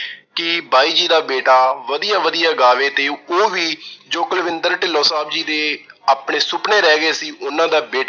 ਕਿ ਬਾਈ ਜੀ ਦਾ ਬੇਟਾ ਵਧੀਆ ਵਧੀਆ ਗਾਵੇ ਤੇ ਉਹ ਵੀ ਜੋ ਕੁਲਵਿੰਦਰ ਢਿੰਲੋਂ ਸਾਹਬ ਜੀ ਦੇ ਆਪਣੇ ਸੁਪਨੇ ਰਹਿ ਗਏ ਸੀ ਉਹਨਾਂ ਦਾ ਬੇ